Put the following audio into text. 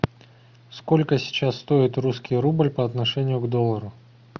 сколько сейчас стоит русский рубль по отношению к доллару